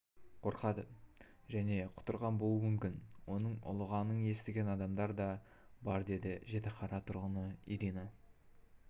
қорқады және құтырған болуы мүмкін оның ұлығанын естіген адамдар да бар деді жітіқара тұрғыны ирина